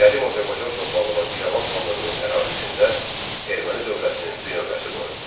Qədim Azərbaycan torpağı olan İrəvan xanlığının ərazisində erməni dövlətinin binövrəsi qoyuldu.